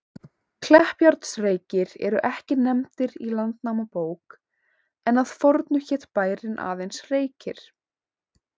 Kleppjárnsreykir eru ekki nefndir í Landnámabók, en að fornu hét bærinn aðeins Reykir.